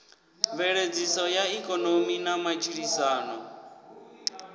mveledziso ya ikonomi na matshilisano